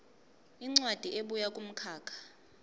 incwadi ebuya kumkhakha